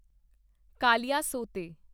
ਕਾਲੀਆਸੋਤੇ